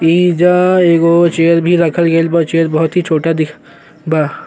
एहिजा एगो चेयर भी रखल गइल बा। चेयर बहुत ही छोटा दिख बा।